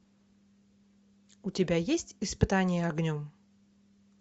у тебя есть испытание огнем